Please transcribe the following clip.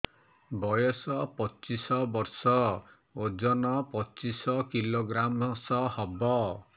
ବୟସ ପଚିଶ ବର୍ଷ ଓଜନ ପଚିଶ କିଲୋଗ୍ରାମସ ହବ